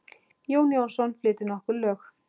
Jón Jónsson flytur nokkur lög.